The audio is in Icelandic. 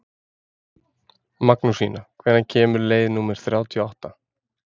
Magnúsína, hvenær kemur leið númer þrjátíu og átta?